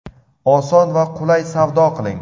Oson va qulay savdo qiling.